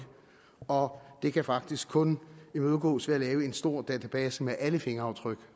og det kan faktisk kun imødegås ved at lave en stor database med alle fingeraftryk